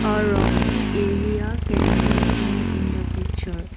a rocky area can be seen in the picture.